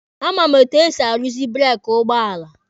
A ma m etu esi aruzi breeki ụgbọala.